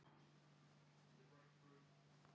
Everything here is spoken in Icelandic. Nei, það gagnar ekkert, liljurós.